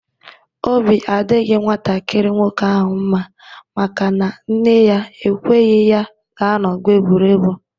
Obi adịghị nwantakịrị nwoke ahụ mma maka na nne ya ekweghị ya gaa n'ọgbọ egwuregwu